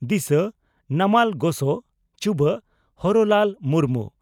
ᱫᱤᱥᱟᱹ (ᱱᱟᱢᱟᱞ ᱜᱚᱥᱚ) ᱪᱩᱵᱟᱹᱜ (ᱦᱚᱨᱚᱞᱟᱞ ᱢᱩᱨᱢᱩ)